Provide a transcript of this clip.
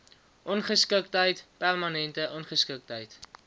ongeskiktheid permanente ongeskiktheid